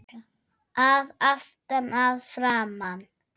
Að aftan, að framan?